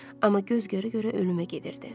Amma göz görə-görə ölümə gedirdi.